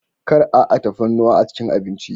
Kar a a tafarnuwa a cikin abinci.